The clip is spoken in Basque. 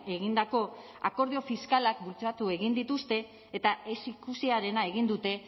egindako akordio fiskalak bultzatu egin dituzte eta ez ikusiarena egin dute